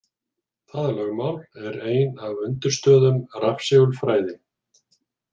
Það lögmál er ein af undirstöðum rafsegulfræði.